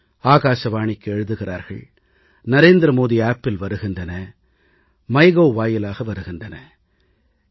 ஆகாசவாணிக்கு எழுதுகிறார்கள் நரேந்திர மோடி செயலியில் பதிவிடுகின்றனர் மை கவ் மைகோவ் இணையதளம் வாயிலாக ஆலோசனைகள் வருகின்றன